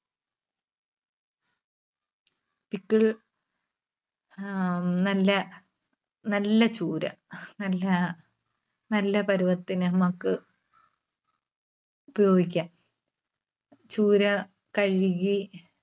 pickle ആഹ് ഉം നല്ല, നല്ല ചൂര. നല്ല, നല്ല പരുവത്തിന് നമുക്ക് ഉപയോഗിക്കാം. ചൂര കഴുകി